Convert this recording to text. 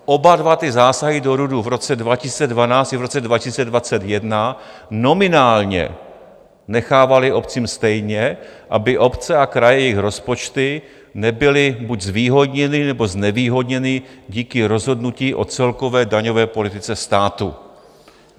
Oba dva ty zásahy do RUDu v roce 2012 i v roce 2021 nominálně nechávaly obcím stejně, aby obce a kraje, jejich rozpočty, nebyly buď zvýhodněny, nebo znevýhodněny díky rozhodnutí o celkové daňové politice státu.